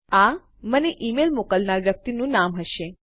આ મને ઈમેલ મોકલનાર વ્યક્તિનું નામ હશે